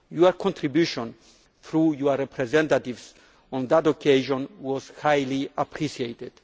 Your contribution through your representatives on that occasion was highly appreciated.